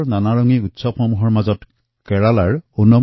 ভাৰতৰ বাৰেৰহণীয়া উৎসৱৰ ভিতৰত অনাম কেৰালাৰ এক প্ৰধান উৎসৱ